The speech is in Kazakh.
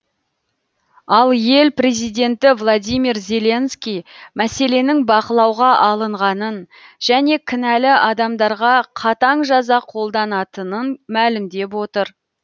ал ел президенті владимир зеленский мәселенің бақылауға алынғанын және кінәлі адамдарға қатаң жаза қолданатынын мәлімдеп отыр